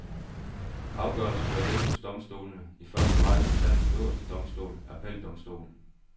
Afgørelsen bør ligge hos domstolene, i første række hos landets øverste domstol, appeldomstolen.